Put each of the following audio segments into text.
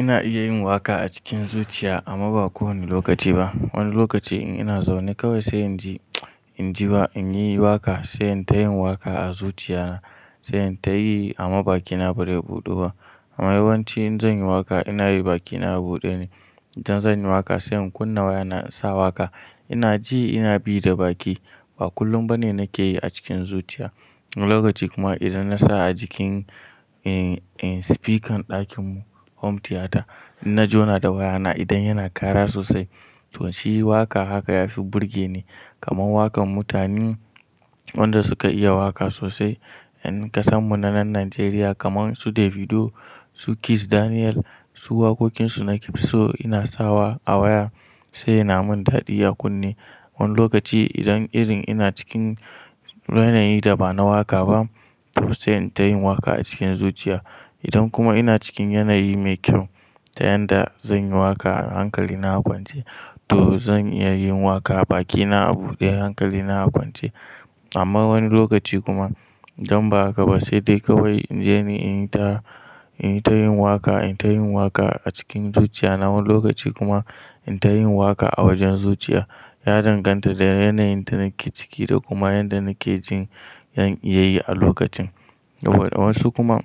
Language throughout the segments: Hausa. Ina iya yin waƙa a cikin zuciya amma ba kowane lokaci ba. Wani lokaci in ina zaune kawai sai in ji, in ji ba in yi waƙa sai in ta yi waƙa a zuciya na sai in ta yi amma baki na ba zai buɗu ba. Amma yawanci in zan yi waƙa ina yi baki na buɗe ne. Idan zan yi waƙa sai in kunna waya na sa waƙa ina ji ina bi da baki. Ba kullum bane nake yi a cikin zuciya. Wani lokaci kuma idan na sa a jikin, speaker ɗakin mu home theater, in na jona da waya na idan yana kara sosai toh shi waƙa haka yafi burge ne. Kaman waƙan mutanen wanda suka iya waƙa sosai. Yan kasan mu na nan Najeriya kaman su Davido, su Kizz Daniel, su waƙoƙin su nake so ina sawa a waya sai yana mun daɗi a kunne. Wani lokaci idan irin ina cikin yanayi da ba na waƙa ba to sai in ta yin waƙa a cikin zuciya. Idan kuma ina cikin yanayi mai kyau ta yanda zan yi waƙa hankali na a kwance to zan iya yin waƙa baki na a buɗe hankali na a kwance. Amma wani lokaci kuma idan ba haka ba sai dai kawai in je ni in yi ta, in yi ta yin waƙa, in ta yin waƙa a cikin zuciya na wani lokaci kuma in ta yin waƙa a wajen zuciya. Ya danganta da yanayin da nake ciki da kuma yanda nake jin zan iya yi a lokacin. Saboda wasu kuma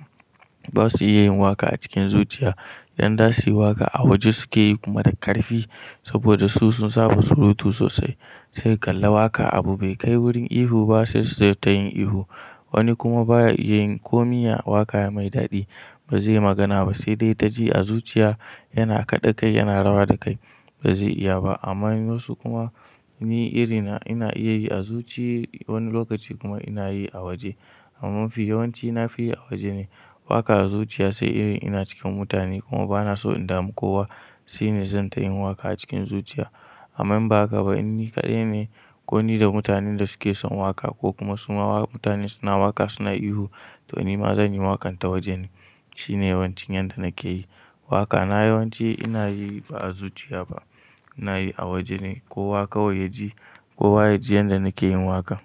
ba su iya yin waƙa a cikin zuciya idan za su yi waƙa a waje suke yi kuma da ƙarfi saboda su sun saba surutu sosai. Sai kalla waƙa abu be kai wurin ihu ba sai su tayin ihu. Wani kuma baya iya yin komin ya waƙa mai daɗi. Ba zai magana ba sai dai ta ji a zuciya yana kaɗe kai yana rawa da kai ba zai iya ba. Amma wasu kuma ni irina ina iya yi a zuciya wani lokaci kuma ina yi a waje. Amma mafi yawanci nafi yi a waje ne. Waƙa a zuciya sai irin ina cikin mutane kuma ba na so in dami kowa shine zan ta yin waƙa a cikin zuciya. Amman ba haka ba in ni kaɗai ne ko ni da mutanen da suke son waƙa ko kuma su ma waƙa mutane suna waƙa suna ihu toh ni ma zan yi waƙan ta waje ne. Shine yawancin yanda nake yi. Waƙa na yawanci ina yi ba a zuciya ba ina yi a waje ne kowa kawai ya ji, kowa ya ji yanda nake yin waƙa.